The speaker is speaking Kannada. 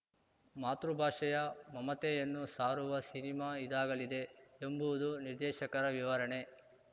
ಮಾತೃಭಾಷೆಯ ಮಮತೆಯನ್ನು ಸಾರುವ ಸಿನಿಮಾ ಇದಾಗಲಿದೆ ಎಂಬುವುದು ನಿರ್ದೇಶಕರ ವಿವರಣೆ